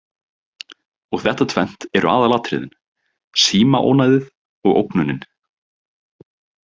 Og þetta tvennt eru aðalatriðin: Símaónæðið og ógnunin.